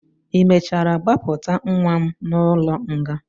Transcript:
ị mechara gbapụta nwa m n'ụlọ nga?